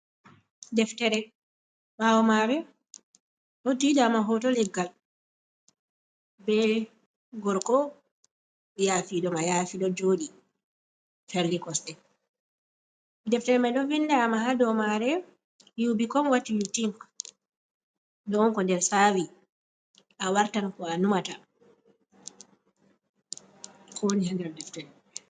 Deftere ɓawo maare ɗo diidaama hoto leggal be gorko yafi ɗo mayaafi ɗo jooɗi, ferli kosɗe, deftere mai ɗo vindama ha dou maare you be come wat you tink ɗo on ko nde saawi a wartan ko a numata deftere.